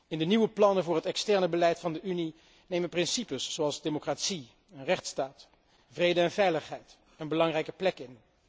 In de nieuwe plannen voor het externe beleid van de Unie nemen principes zoals democratie en rechtsstaat, vrede en veiligheid een belangrijke plek in.